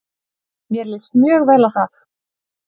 Mér líst mjög vel á það.